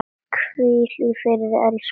Hvíl í friði, elsku Svava.